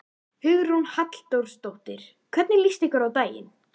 Hugrún Halldórsdóttir: Hvernig líst ykkur á daginn?